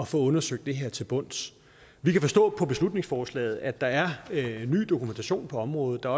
få undersøgt det her til bunds vi kan forstå på beslutningsforslaget at der er ny dokumentation på området og